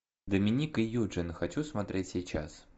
доминик и юджин хочу смотреть сейчас